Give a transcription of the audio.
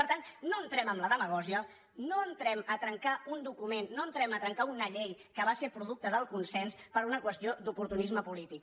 per tant no entrem en la demagògia no entrem a trencar un document no entrem a trencar una llei que va ser producte del consens per una qüestió d’oportunisme polític